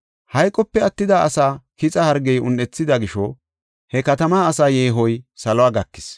Hayqope attida asaa kixa hargey un7ethida gisho he katamaa asaa yeehoy salo gakis.